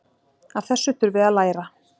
Af þessu þurfi að læra.